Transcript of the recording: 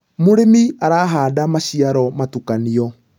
mũrĩmi arahanda maciaro mutukanĩo